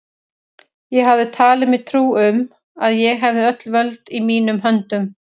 Ég hafði talið mér trú um, að ég hefði öll völd í mínum höndum.